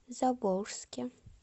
заволжске